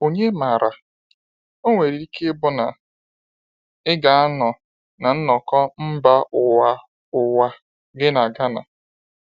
Ònye maara, o nwere ike ịbụ na ị ga-anọ na nnọkọ mba ụwa ụwa gị na Ghana!”